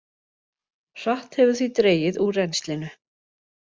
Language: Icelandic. Hratt hefur því dregið úr rennslinu